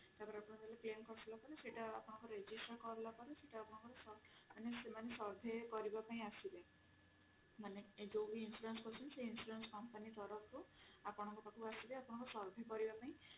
ତାପରେ ଆପଣଙ୍କର ସେଇଟା register କରିଲା ପରେ ସେଟା ଆପଣଙ୍କର ମାନେ ସେମାନେ survey କରିବାପାଇଁ ଆସିବେ ମାନେ ଯୋଉ ବି insurance କରୁଛନ୍ତି company ତରଫ ରୁ ଆପଣଙ୍କ ପାଖକୁ ଆସିବେ ଆପଣଙ୍କ survey କରିବାପାଇଁ